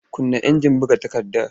Kunna injin buga takardar!